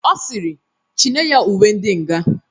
Ọ sịrị "chi nye ya uwe ndi nga